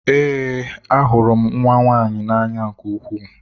Ee, ahụrụ m nwa nwaanyị na-anya nke ukwuu.